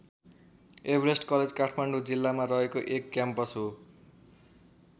Everest college Kathmandu जिल्लामा रहेको एक क्याम्पस हो।